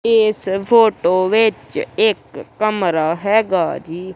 ਇਸ ਫੋਟੋ ਵਿੱਚ ਇੱਕ ਕਮਰਾ ਹੈਗਾ ਜੀ।